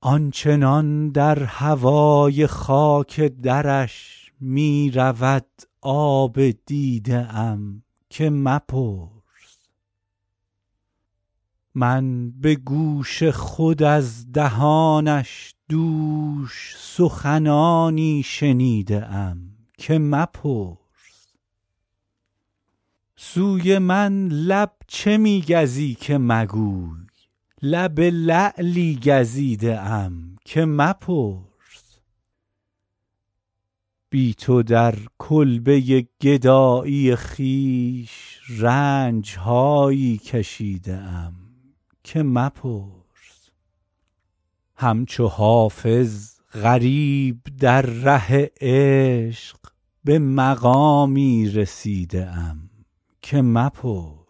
آن چنان در هوای خاک درش می رود آب دیده ام که مپرس من به گوش خود از دهانش دوش سخنانی شنیده ام که مپرس سوی من لب چه می گزی که مگوی لب لعلی گزیده ام که مپرس بی تو در کلبه گدایی خویش رنج هایی کشیده ام که مپرس همچو حافظ غریب در ره عشق به مقامی رسیده ام که مپرس